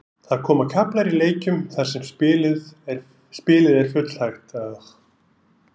Það koma kaflar í leikjum þar sem spilið er full hægt.